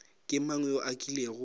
ke mang yo a kilego